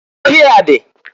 Ọhịa dị.